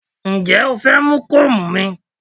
Ǹjẹ́ o fẹ́ mú kóòmù mi?